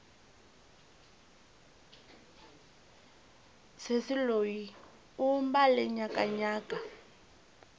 sesi loyi u mbale nyakanyaka